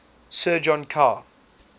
sir john kerr